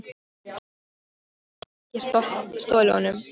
Vonandi hafði hún ekki stolið honum.